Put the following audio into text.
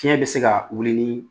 Fiɲɛ bɛ se ka wuli ni